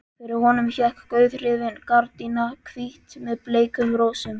Fyrir honum hékk gauðrifin gardína, hvít með bleikum rósum.